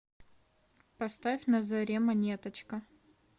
поставь на заре монеточка